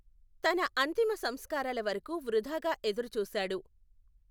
తన అంతిమ సంస్కారాల వరకు వృధాగా ఎదురుచూశాడు.